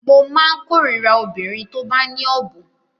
Mo má ń kórira obìnrin tó bá ní ọ̀bùn